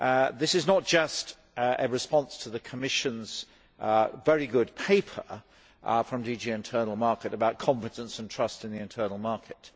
This is not just a response to the Commission's very good paper from DG Internal Market about competence and trust in the internal market.